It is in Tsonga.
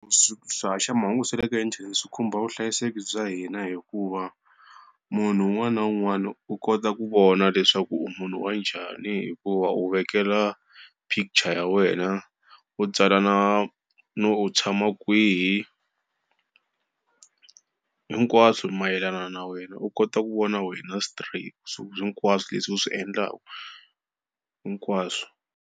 Swi swihaxamahungu swa le ka inthanete swi khumba vuhlayiseki bya hina hikuva, munhu un'wana na un'wana u kota ku vona leswaku u munhu wa njhani hi ku va u vekela picture ya wena, u tsala na no u tshama kwihi hinkwaswo mayelana na wena u kota ku vona wena straight so hinkwaswo leswi u swi endlaka hinkwaswo.